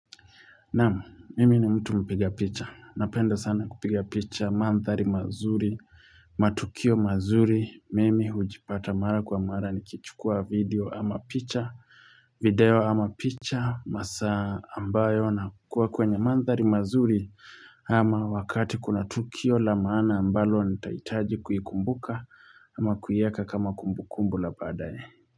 Naam, mimi ni mtu mpiga picha. Napenda sana kupiga picha, manthari mazuri, matukio mazuri. Mimi hujipata mara kwa mara nikichukua video ama picha, video ama picha. Masaa ambayo na kukua kwenye manthari mazuri ama wakati kuna tukio la maana ambalo nitaitaji kuikumbuka ama kuieka kama kumbukumbu la baadaye.